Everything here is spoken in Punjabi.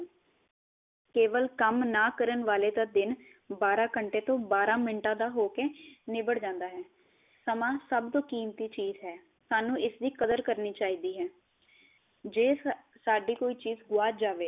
ਕੇਵਲ ਕੰਮ ਨਾ ਕਰਨ ਵਾਲੇ ਦਾ ਦਿਨ ਬਾਰਾ ਘੰਟੇ ਤੋ ਬਾਰਾ ਮਿੰਟਾ ਦਾ ਹੋ ਕੇ ਨਿਬੜ ਜਾਂਦਾ ਹੈ। ਸਮਾਂ ਸਭ ਤੋ ਕੀਮਤੀ ਚੀਜ਼ ਹੈ। ਸਾਨੂੰ ਇਸ ਦੀ ਕਦਰ ਕਰਨੀ ਚਾਹੀਦੀ ਹੈ। ਜੇ ਸਾਡੀ ਕੋਈ ਚੀਜ਼ ਗੁਆਚ ਜਾਵੇ